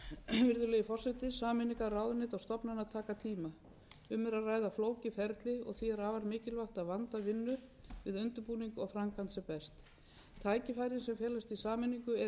forseti sameiningar ráðuneyta og stofnana taka tíma um er að ræða flókið ferli og því er afar mikilvægt að vanda vinnu við undirbúning og framkvæmd sem best tækifærin sem felast í sameiningu eru einnig mikil og hafa verður